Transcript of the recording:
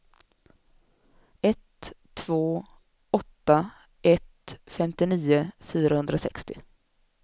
ett två åtta ett femtionio fyrahundrasextio